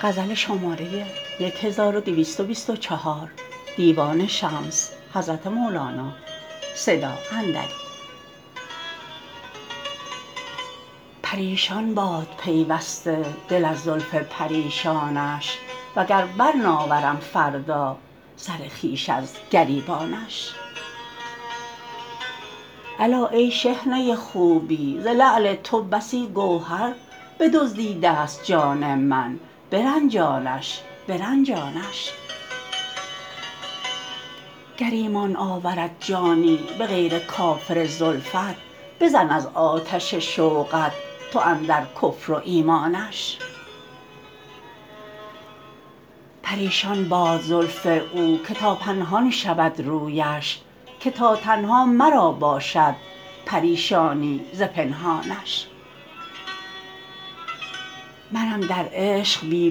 پریشان باد پیوسته دل از زلف پریشانش وگر برناورم فردا سر خویش از گریبانش الا ای شحنه خوبی ز لعل تو بسی گوهر بدزدیدست جان من برنجانش برنجانش گر ایمان آورد جانی به غیر کافر زلفت بزن از آتش شوقت تو اندر کفر و ایمانش پریشان باد زلف او که تا پنهان شود رویش که تا تنها مرا باشد پریشانی ز پنهانش منم در عشق بی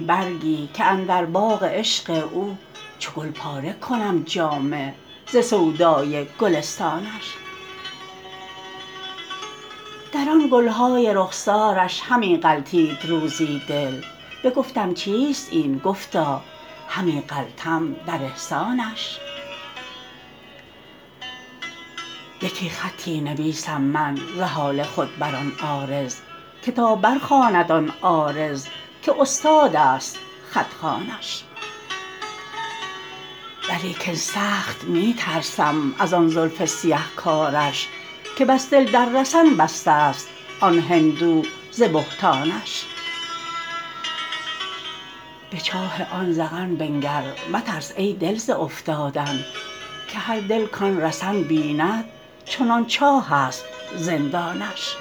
برگی که اندر باغ عشق او چو گل پاره کنم جامه ز سودای گلستانش در آن گل های رخسارش همی غلطید روزی دل بگفتم چیست این گفتا همی غلطم در احسانش یکی خطی نویسم من ز حال خود بر آن عارض که تا برخواند آن عارض که استادست خط خوانش ولیکن سخت می ترسم از آن زلف سیه کاوش که بس دل در رسن بستست آن هندو ز بهتانش به چاه آن ذقن بنگر مترس ای دل ز افتادن که هر دل کان رسن بیند چنان چاهست زندانش